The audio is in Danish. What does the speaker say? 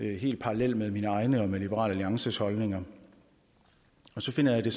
helt parallelle med mine egne og liberal alliances holdninger og så finder jeg det